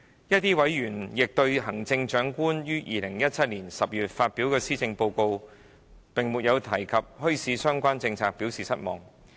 部分委員亦對行政長官於2017年10月發表的施政報告並沒有提及墟市相關政策表示失望。